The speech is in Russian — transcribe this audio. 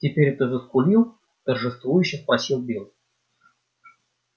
теперь ты заскулил торжествующе спросил билл